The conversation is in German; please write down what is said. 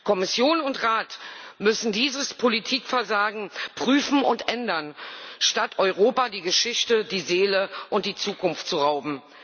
Kommission und Rat müssen dieses Politikversagen prüfen und ändern, statt Europa die Geschichte, die Seele und die Zukunft zu rauben.